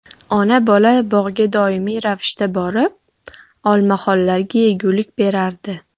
Ona-bola bog‘ga doimiy ravishda borib, olmaxonlarga yegulik berardi.